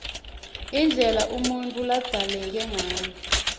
indlela umuntfu ladzaleke ngayo